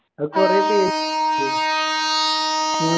അത് കൊറേ പേര് ഇല്ലേ